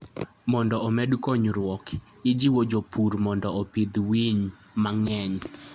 Mondo omed konyruok, ijiwo jopur mondo opidh winy mang'eny.